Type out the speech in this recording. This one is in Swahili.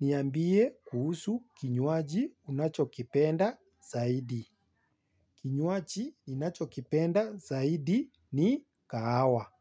Niambie kuhusu kinywaji unachokipenda zaidi. Kinywaji ninachokipenda zaidi ni kahawa.